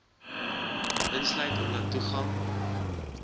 insluit omdat toegang